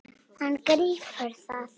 Hann grípur það.